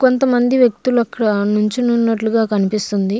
కొంతమంది వ్యక్తులు అక్కడ నుంచి ఉన్నట్లుగా కనిపిస్తుంది.